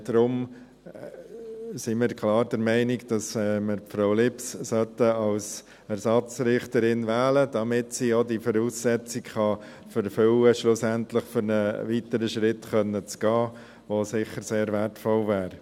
Deshalb sind wir klar der Meinung, dass wir Frau Lips als Ersatzrichterin wählen sollten, damit sie diese Voraussetzung erfüllen kann, um einen weiteren Schritt gehen zu können, was sicher sehr wertvoll wäre.